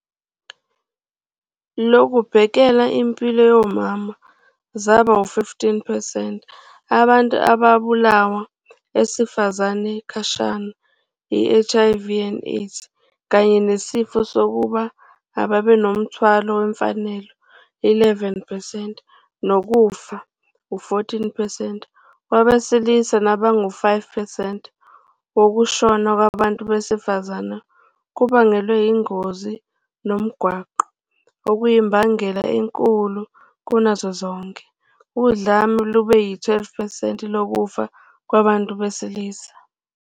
Lokubhekela impilo yomama zaba 15 percent abantu ababulawa esifazane khashana -HIV and AIDS kanye nesifo sofuba ababenomthwalo wemfanelo 11 percent nokufa, U-14 percent wabesilisa nabangu-5 percent wokushona kwabantu besifazane kubangelwe yizingozi zomgwaqo, okuyimbangela enkulu kunazo zonke. Udlame lube yi-12 percent lokufa kwabantu besilisa.